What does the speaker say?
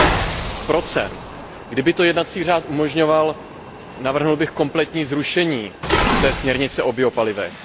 6 Kdyby to jednací řád umožňoval, navrhl bych kompletní zrušení směrnice o biopalivech.